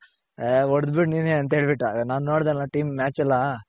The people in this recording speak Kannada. ಹೊಡೆದ್ ಬಿಡೆ ನೀನೇನೆ ಅಂತ ಹೇಳ್ ಬಿಟ್ಟ ನಾನ್ ನೋಡಿದೆ ಅಲ್ಲ Team match ಎಲ್ಲ